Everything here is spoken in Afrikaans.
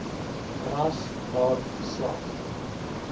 ras maar geslag